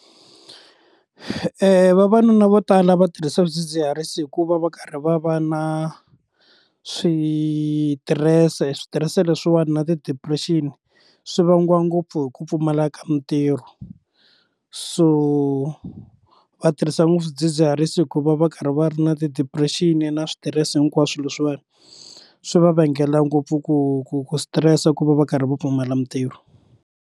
Vavanuna vo tala va tirhisa swidzidziharisi hikuva va karhi va va na switirese switirese leswiwani na ti depression swi vangiwa ngopfu hi ku pfumala ka mintirho so va tirhisa ngopfu swidzidziharisi hikuva va karhi va ri na ti depression na switirese hinkwaswo leswiwani swi va vangela ngopfu ku ku ku stress ku va va karhi va pfumala mintirho.